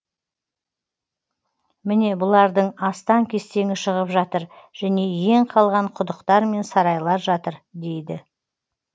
міне бұлардың астан кестеңі шығып жатыр және иен қалған құдықтар мен сарайлар жатыр дейді